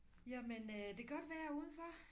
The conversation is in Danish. Jamen øh det godt vejr udenfor